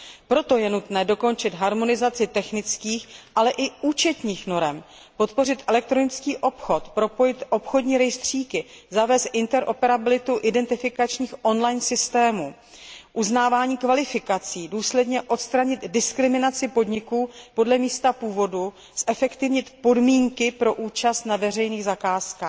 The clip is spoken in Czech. Proto je nutné dokončit harmonizaci technických, ale i účetních norem, podpořit elektronický obchod, propojit obchodní rejstříky, zavést interoperabilitu identifikačních on line systémů, uznávání kvalifikací, důsledně odstranit diskriminaci podniků podle místa původu, zefektivnit podmínky pro účast na veřejných zakázkách.